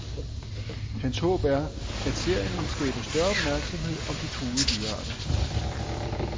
Hans håb er, at serien vil skabe større opmærksomhed om de truede dyrearter.